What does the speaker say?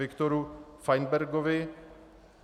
Viktoru Fajnbergovi